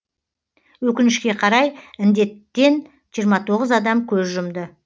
өкінішке қарай інденттен жиырма тоғыз адам көз жұмды